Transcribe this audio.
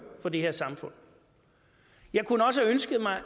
for det her samfund jeg kunne også have ønsket mig